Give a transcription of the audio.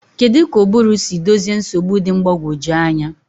Kedu ka ụbụrụ si dozie nsogbu dị mgbagwoju anya?